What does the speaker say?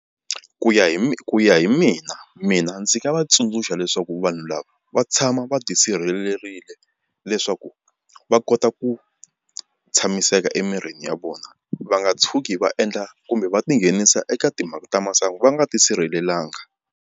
Ku ya ku ya hi mina mina ndzi nga va tsundzuxa leswaku vanhu lava va tshama va tisirhelerile leswaku va kota ku tshamiseka emirini ya vona va nga tshuki va endla kumbe va tinghenisa eka timhaka ta masangu va nga tisirhelelanga.